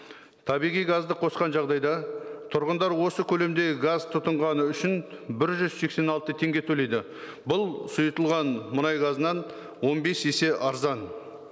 табиғи газды қосқан жағдайда тұрғындар осы көлемдегі газ тұтынғаны үшін бір жүз сексен алты теңге төлейді бұл сұйытылған мұнай газынан он бес есе арзан